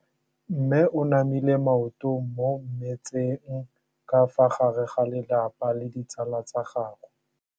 Mme o namile maoto mo mmetseng ka fa gare ga lelapa le ditsala tsa gagwe.